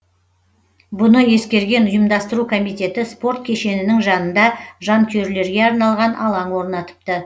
бұны ескерген ұйымдастыру комитеті спорт кешенінің жанында жанкүйерлерге арналған алаң орнатыпты